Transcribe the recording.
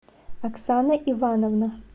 оксана ивановна